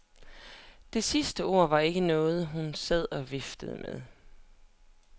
Det sidste ord var ikke noget, hun sad og viftede med.